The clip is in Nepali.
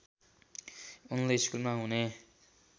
उनले स्कुलमा हुने